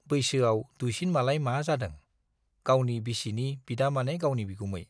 बैसोआव दुइसिन मालाय मा जादों - गावनि बिसिनि बिदा माने गावनि बिगुमै।